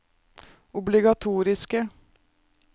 obligatoriske